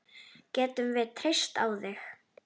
Getum við treyst á þig?